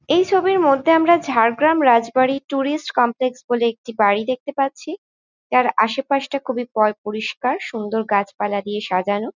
এই ছবির মধ্যে আমরা ঝাড়গ্রাম রাজবাড়ি ট্যুরিস্ট কমপ্লেক্স বলে একটি বাড়ি দেখতে পাচ্ছি। যার আশপাশটা খুবই পয় পরিস্কার সুন্দর গাছপালা দিয়ে সাজানো।